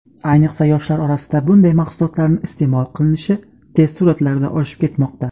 ayniqsa yoshlar orasida bunday mahsulotlarni iste’mol qilinishi tez sur’atlarda oshib ketmoqda.